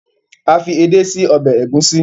a fi ede sí Ọbẹ̀ Egusi.